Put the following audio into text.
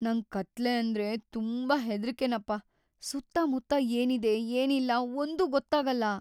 ನಂಗ್ ಕತ್ಲೆ ಅಂದ್ರೆ ತುಂಬಾ ಹೆದ್ರಿಕೆನಪ್ಪ, ಸುತ್ತಮುತ್ತ ಏನಿದೆ ಏನಿಲ್ಲ ಒಂದೂ ಗೊತ್ತಾಗಲ್ಲ.